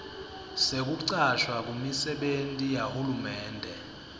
sekucashwa kumisebenti yahulumende